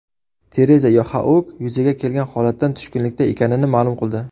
Tereza Yoxaug yuzaga kelgan holatdan tushkunlikda ekanini ma’lum qildi.